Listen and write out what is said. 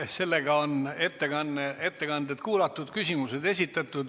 Sellega on ettekanded kuulatud ja küsimused esitatud.